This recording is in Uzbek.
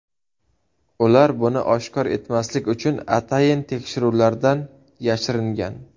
Ular buni oshkor etmaslik uchun atayin tekshiruvlardan yashiringan.